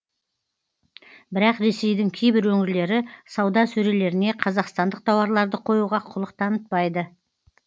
бірақ ресейдің кейбір өңірлері сауда сөрелеріне қазақстандық тауарларды қоюға құлық танытпайды